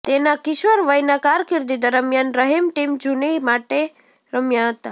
તેના કિશોરવયના કારકિર્દી દરમિયાન રહિમ ટીમ જૂની માટે રમ્યા હતા